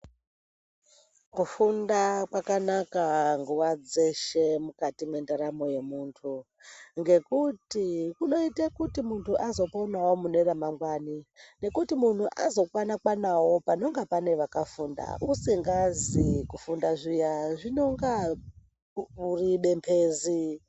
Kufunda kwakanaka nguva dzeshe mukati mwendaramo yemutu. Ngekuti kunoite kuti muntu azoponavo mune ramangwani. Nekuti muntu azokwana-kwanavo panonga pane vakafunda usingazi kufunda zviya zvinonga uri bembezi.